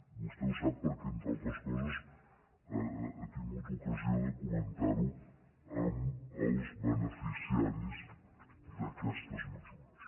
vostè ho sap perquè entre altres coses ha tingut ocasió de comentar ho als beneficiaris d’aquestes mesures